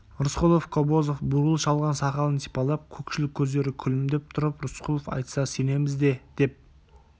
рысқұлов кобозов бурыл шалған сақалын сипалап көкшіл көздері күлімдеп тұрып рысқұлов айтса сенеміз де деп